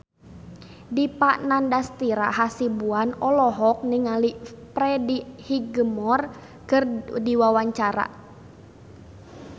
Dipa Nandastyra Hasibuan olohok ningali Freddie Highmore keur diwawancara